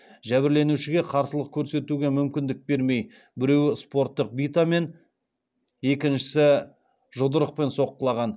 жәбірленушіге қарсылық көрсетуге мүмкіндік бермей біреуі спорттық битамен екіншісі жұдырықпен соққылаған